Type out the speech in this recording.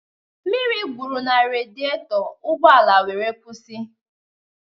Mmiri gwụrụ na rediato, ụgbọala wéré kwụsị